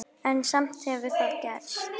En samt hefur það gerst.